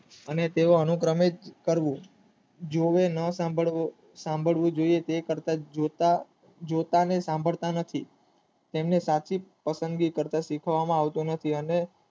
અને તેઓ કરવું જે હોય એ નસંભારવું જોઇએ તે કર્તવ્ય જોતા નું સંભાળતા નથી તેમને પાકી પસંદગી કર તો શીખવામાં આવતો નથી અને.